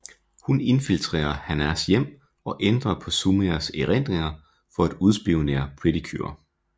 Hun infiltrerer Hanas hjem og ændrer på Sumires erindringer for at udspionere Pretty Cure